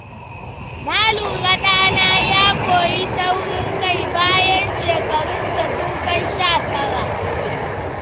Na lura ɗana ya koyi taurin kai bayan shekarunsa sun kai sha tara.